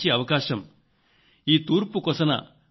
ఈ అంతర్జాతీయ కార్యక్రమంలో పాల్గొనే సౌభాగ్యం నాకు కలిగింది